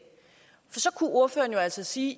så kunne ordføreren altså sige